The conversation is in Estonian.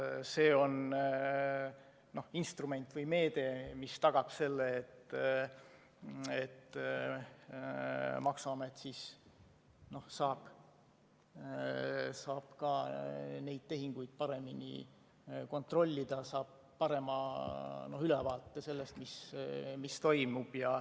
See on instrument või meede, mis tagab selle, et maksuamet saab ka neid tehinguid paremini kontrollida, saab parema ülevaate sellest, mis toimub.